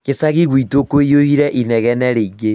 Gĩcagi gwitũ kũiyũire inegene rĩingĩ